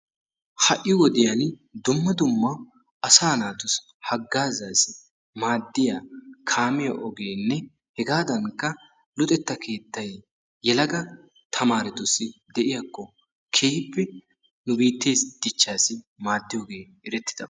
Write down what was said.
Ha'i wodiyaan dumma dumma asa naatussi hagazzassi maaddiya kaamiyaa ogenne hegadankka luxetta keettay yelaga tamaretussi de'iyaakko keehippe nu biitte dichchassi erettidaabaa.